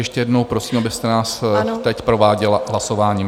Ještě jednou prosím, abyste nás teď prováděla hlasováním.